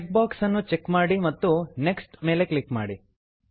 check box ಅನ್ನು check ಮಾಡಿ ಮತ್ತು ನೆಕ್ಸ್ಟ್ ನೆಕ್ಷ್ಟ್ ಮೇಲೆ ಕ್ಲಿಕ್ ಮಾಡಿ